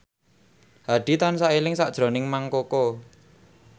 Hadi tansah eling sakjroning Mang Koko